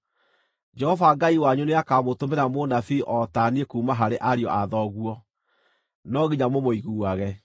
Jehova Ngai wanyu nĩakamũtũmĩra mũnabii o ta niĩ kuuma harĩ ariũ a thoguo. No nginya mũmũiguage.